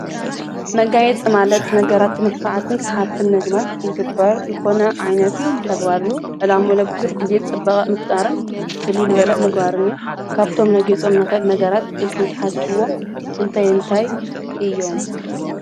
መጋየት ማለት ነገራት ምልኰዓትን ሰሓብትም ነግባር ኢልግበር ልኾነ ዓይነት ተግባር እዩ። ዕላም ኡለብዙኅ ጊዜ ጥበቐ ምፍጣርን ፍሊልበለእ መግባርን እዩ ። ካብቶም ነጌጾም ንኽል ነገራት ኢልኩም ተሓስብዎም እንታይ እንታይ እዮም?